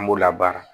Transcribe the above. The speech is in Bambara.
An b'u labaara